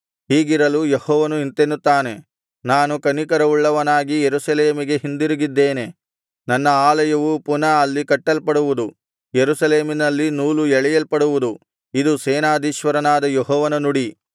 ಹೀಗಿರಲು ಯೆಹೋವನು ಇಂತೆನ್ನುತ್ತಾನೆ ನಾನು ಕನಿಕರವುಳ್ಳವನಾಗಿ ಯೆರೂಸಲೇಮಿಗೆ ಹಿಂದಿರುಗಿದ್ದೇನೆ ನನ್ನ ಆಲಯವು ಪುನಃ ಅಲ್ಲಿ ಕಟ್ಟಲ್ಪಡುವುದು ಯೆರೂಸಲೇಮಿನಲ್ಲಿ ನೂಲು ಎಳೆಯಲ್ಪಡುವುದು ಇದು ಸೇನಾಧೀಶ್ವರನಾದ ಯೆಹೋವನ ನುಡಿ